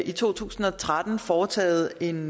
i to tusind og tretten foretaget en